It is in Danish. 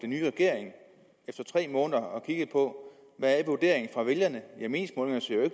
nye regering efter tre måneder og kiggede på hvad vurderingen fra vælgerne